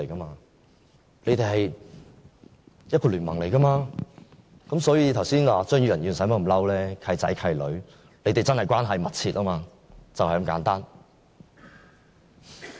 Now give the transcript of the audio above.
他們是聯盟，所以張宇人議員剛才無需動怒，"契仔契女"，他們的關係真的密切，就是這麼簡單。